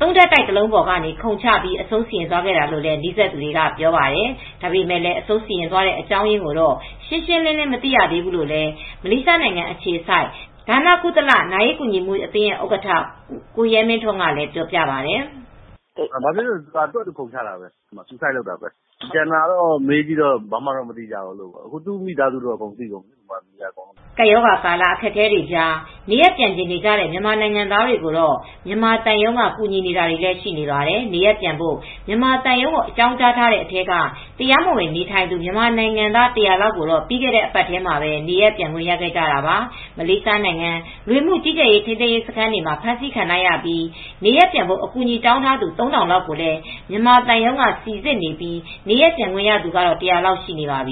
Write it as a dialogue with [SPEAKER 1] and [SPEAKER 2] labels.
[SPEAKER 1] ၃ ထပ်တိုက်တလုံးပေါ်ကနေ ခုန်ချအဆုံးစီရင်သွားတာလို့လည်း နီးစပ်သူတွေ ပြောပါတယ်။ ဒါပေမဲ့လည်း အဆုံးစီရင်သွားတဲ့ အကြောင်းရင်းကိုတော့ ရှင်းရှင်းလင်းလင်း မသိရဘူးလို့လည်း မလေးရှားနိုင်ငံအခြေစိုက် ဒါနကုသလ နာရေးကူညီမှုအသင်းဥက္ကဋ္ဌ ကိုရဲမင်းထွန်းကပြောပါတယ်
[SPEAKER 2] ။ "ဘာဖြစ်လို့လဲဆိုတော့ သူဘာ့သာခုန်ချတာပဲ မိမိကိုယ်ကို အဆုံးစီရင်တာပဲ။ ကျန်တာတော့ဘာမှမသိရဘူး။ မြန်မာပြည်ထဲက သူ့မိသားစုတွေကတော့ အကုန်သိကုန်ပါပြီ။" ကပ်
[SPEAKER 1] ရောဂါကာလ အခက်အခဲတွေကြား နေရပ်ပြန်ချင်နေကြတဲ့ မြန်မာနိုင်ငံသားတွေကိုတော့ မြန်မာသံရုံးက ကူညီနေတာတွေလည်း ရှိပါတယ်။ နေရပ်ပြန်ဖို့ မြန်မာသံရုံးကို အကြောင်းကြားထားတဲ့ အထဲက တရားမဝင်နေထိုင်နေသူ မြန်မာနိုင်ငံသား ၁၀၀ လောက်ကတော့ ပြီးခဲ့တဲ့ တပတ်ထဲမှာပဲ နေရပ်ပြန်ခွင့် ရခဲ့ကြတာပါ။ မလေးရှားနိုင်ငံက လူဝင်မှုကြီးကြပ်ရေး ထိန်းသိမ်းရေး စခန်းတွေမှာ ဖမ်းဆီးခံထားရပြီး နေရပ်ပြန်ဖို့ အကူအညီတောင်းထားသူ ၃,၀၀၀ လောက်ကိုလည်း မြန်မာသံရုံးက စိစစ်နေပြီး နေရပ်ပြန်ခွင့်ရသူကတော့ ၁၀၀ လောက် ရှိနေပါပြီ